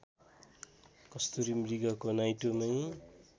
कस्तुरी मृगको नाइटोमै